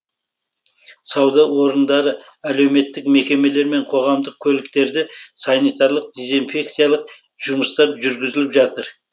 сауда орындары әлеуметтік мекемелер мен қоғамдық көліктерде санитарлық дезинфекциялық жұмыстар жүргізіліп жатыр